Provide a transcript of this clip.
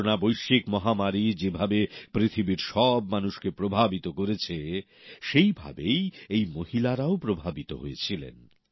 বিশ্বজুড়ে করোনা মহামারী যেভাবে পৃথিবীর সব মানুষকে প্রভাবিত করেছে সেই ভাবেই এই মহিলারাও প্রভাবিত হয়েছিলেন